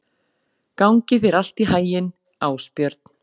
Gangi þér allt í haginn, Ásbjörn.